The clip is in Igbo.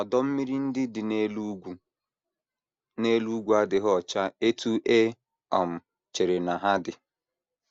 Ọdọ mmiri ndị dị n’elu ugwu n’elu ugwu adịghị ọcha otú e um chere na ha dị.